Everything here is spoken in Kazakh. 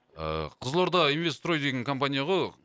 ыыы қызылорда инвест строй деген компания ғой